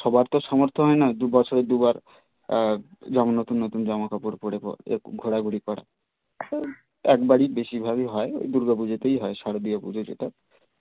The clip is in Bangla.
সবার তো সামর্থ হয় না দুবছরে দুবার আহ যেমন নতুন নতুন জামা কাপড় পরে ঘুরতে ঘোরা ঘুরি করা একেবারেই বেশির ভাগই হয় দুর্গ পুজোতেই হয় শারদীয়ার পুজো যেটা